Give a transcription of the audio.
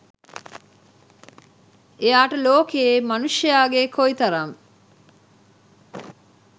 එයාට ලෝකයේ මනුෂ්‍යයාගේ කොයි තරම්